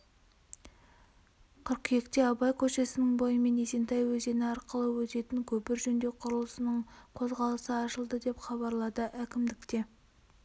қыркүйекте абай көшесінің бойымен есентай өзені арқылы өтетін көпір жөндеу құрылысының қозғалысы ашылды деп хабарлады әкімдікте